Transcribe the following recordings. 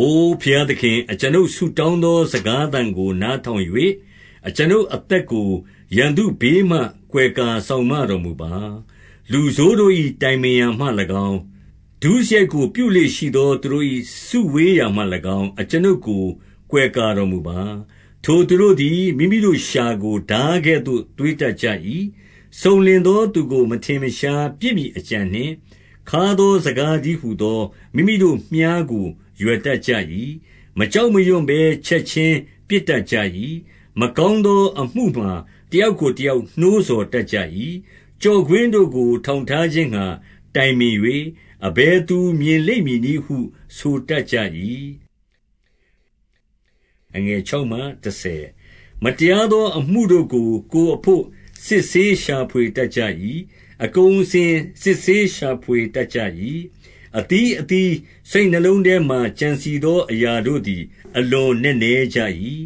အို ဘုရားသခင်၊ အကျွန်ုပ်ဆုတောင်းသော စကားသံကို နားထောင်၍ အကျွန်ုပ်အသက်ကို ရန်သူဘေးမှ ကွယ်ကာစောင့်မတော်မူပါ။ 2 လူဆိုးတို့၏ တိုင်ပင်ရာမှ၎င်း၊ ဒုစရိုက်ကို ပြုလေ့ရှိသော သူတို့၏ စုဝေးရာမှ၎င်း၊ အကျွန်ုပ်ကို ကွယ်ကာတော်မူပါ။ 3 ထိုသူတို့သည် မိမိတို့လျှာကို ထားကဲ့သို့ သွေးတတ်ကြ၏။ 4 စုံလင်သောသူကို မထင်မရှားပစ်မည်အကြံနှင့်၊ ခါးသောစကားတည်းဟူသော မိမိတို့ မြှားကို ရွယ်တတ်ကြ၏။ မကြောက်မရွံ့ဘဲ ချက်ခြင်း ပစ်တတ်ကြ၏။ 5 မကောင်းသောအမှုမှာ တယောက်ကိုတယောက် နှိုးဆော်တတ်ကြ၏။ ကျော့ကွင်းတို့ကို ထောင်ထား ခြင်းငှါ တိုင်ပင်၍၊ အဘယ်သူ မြင်လိမ့်မည်နည်းဟု ဆိုတတ်ကြ၏။ 6 မတရားသော အမှုတို့ကို ကိုယ်အဘို့ စစ်ဆေးရှာဖွေတတ်ကြ၏။ အသီးအသီး စိတ်နှလုံးထဲမှာ ကြံစည်သော အရာတို့သည် အလွန်နက်နဲကြ၏။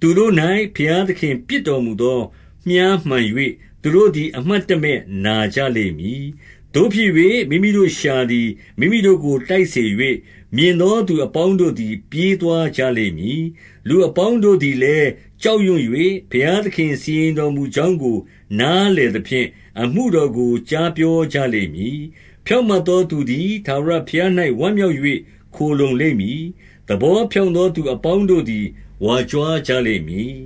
7 သူတို့၌ ဘုရားသခင် ပစ်တော်မူသော မြှားမှန်၍၊ သူတို့သည် အမှတ်တမဲ့ နာကြလိမ့်မည်။ 8 သို့ဖြစ်၍ မိမိတို့ လျှာသည် မိမိတို့ကို တိုက်စေ၍၊ မြင်သောသူအပေါင်းတို့သည် ပြေးသွားကြလိမ့်မည်။ 9 လူအပေါင်းတို့သည်လည်း ကြောက်ရွံ့၍၊ ဘုရားသခင်စီရင်တော်မူကြောင်းကို နားလည်သဖြင့် အမှုတော်ကို ကြားပြောကြလိမ့်မည်။ 10 ဖြောင့်မတ်သောသူသည် ထာဝရဘုရား၌ ဝမ်းမြောက်၍ ခိုလှုံလိမ့်မည်။ သဘောဖြောင့်သော သူအပေါင်းတို့သည် ဝါကြွားကြလိမ့်မည်။